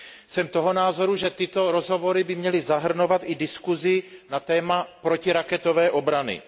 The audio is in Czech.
Jsem toho názoru, že tyto rozhovory by měly zahrnovat i diskuzi na téma protiraketové obrany.